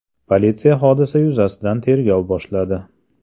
Politsiya hodisa yuzasidan tergov boshladi.